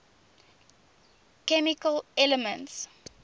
chemical elements